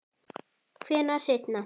Hvenær seinna?